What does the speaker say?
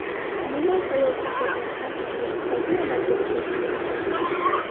Umuman, xayolga kelgan har qanday istakni amalga oshirish mumkin.